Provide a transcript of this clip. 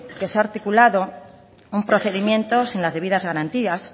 que se ha articulado un procedimiento sin las debidas garantías